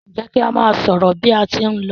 Njé ki a má sọrọ bi a tí n ló?